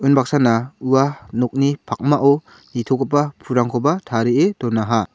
unbaksana ua nokni pakmao nitogipa pulrangkoba tarie donaha.